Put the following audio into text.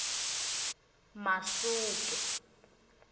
masuke